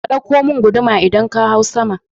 Ka ɗauko mun guduma idan ka hau sama